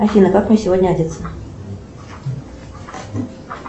афина как мне сегодня одеться